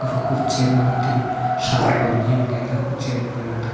chen ma tham nu nyem ley kochen .]